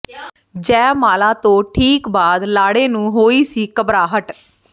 ਜੈਮਾਲਾ ਤੋਂ ਠੀਕ ਬਾਅਦ ਲਾੜੇ ਨੂੰ ਹੋਈ ਸੀ ਘਬਰਾਹਟ